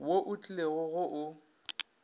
wo o tlilego go o